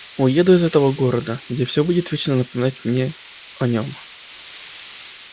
уеду из этого города где все будет вечно напоминать мне о нем